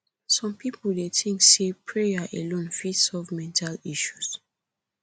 some people dey think say prayer alone fit solve mental health issues